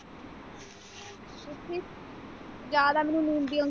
ਜਾਦਾ ਮੈਨੂੰ ਲੂੰਨ ਦੀਆਂ